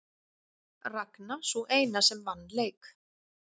Ragna sú eina sem vann leik